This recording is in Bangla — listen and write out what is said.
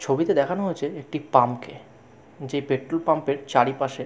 ছবিতে দেখানো হয়েছে একটি পাম্প কে যে পেট্রল পাম্প এর চারিপাশে ।